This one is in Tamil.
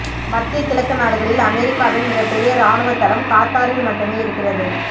மத்திய கிழக்கு நாடுகளில் அமெரிக்காவின் மிகப்பெரிய ராணுவத் தளம் கத்தாரில் மட்டுமே இருக்கிறது